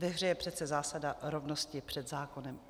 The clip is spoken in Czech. Ve hře je přece zásada rovnosti před zákonem.